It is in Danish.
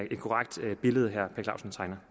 blevet at